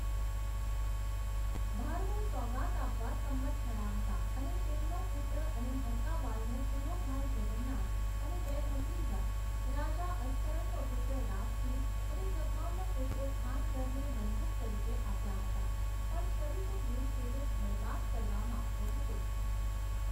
ભારમલ સોગાત આપવા સંમત થયા હતા અને તેમનો પુત્ર અને હરકા બાઇનો પૂરો ભાઈ જગન્નાથ અને બે ભત્રીજા, રાજા અસ્કરણનો પુત્ર રાજ સિંહ અને જગમાલનો પુત્ર ખાનગરને બંધક તરીકે આપ્યા હતા પણ શરીફ ઉદ દિન તેને બરબાદ કરવા માગતો હતો.